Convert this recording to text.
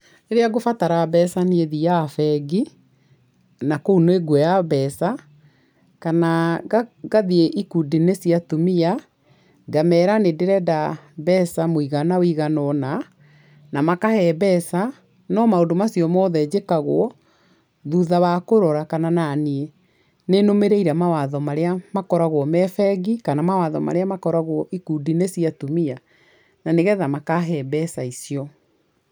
Rĩrĩa ngũbatara mbeca niĩ thiaga bengi, na kũu nĩnguoya mbeca kana ngathiĩ ikundi-inĩ cia atumia ngamera nĩ ndĩrenda mbeca mũigana ũigana ũna, na makahe mbeca, no maũndũ macio mothe njĩkagwo thutha wa kũrora kana naniĩ nĩ nũmĩrĩire mawatho marĩa makoragwo me bengi kana mawatho marĩa makoragwo ikundi-inĩ cia atumia na ni getha makahe mbeca icio.